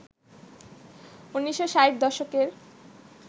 ১৯৬০ দশকের